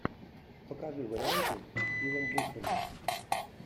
покажи варианты с стивом бушеми